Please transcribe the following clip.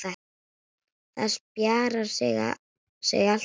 Það spjarar sig alltaf.